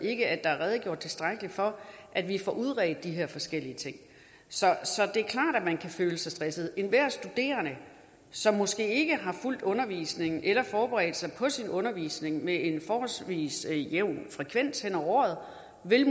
ikke at der er redegjort tilstrækkelig for at vi får udredt de her forskellige ting så det er klart at man kan føle sig stresset enhver studerende som måske ikke har fulgt undervisningen eller forberedt sig på sin undervisning med en forholdsvis jævn frekvens hen over året vil